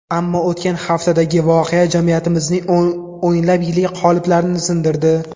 Ammo o‘tgan haftadagi voqea jamiyatimizning o‘nlab yillik qoliplarini sindirdi.